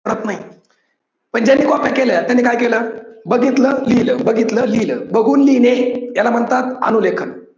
करत नाही. पण ज्यांनी कॉप्या केल्या त्यांनी काय केलं? बघितल लिहील बघितल लिहील, बघून लिहिणे याला म्हणतात अनु लेखन.